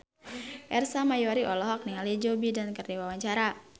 Ersa Mayori olohok ningali Joe Biden keur diwawancara